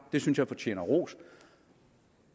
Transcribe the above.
det synes jeg fortjener ros